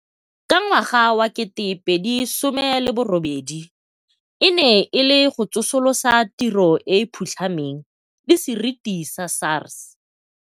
ka ngwaga wa 2018 e ne e le go tsosolosa tiro e e phutlhameng le seriti sa SARS.